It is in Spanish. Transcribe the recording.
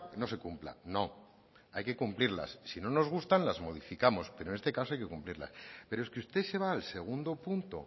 no se cumpla no hay que cumplirlas si no nos gusta las modificamos pero en este caso hay que cumplirla pero es que usted se va al segundo punto